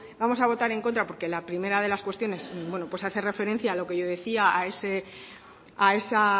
vamos a votar en contra porque la primera de las cuestiones hace referencia a lo que yo decía a esa